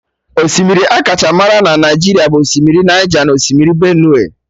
Osimiri akacha marụ na Naijiria bụ osimiri Naija na Osimiri Benue